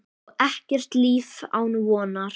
Og ekkert líf án vonar.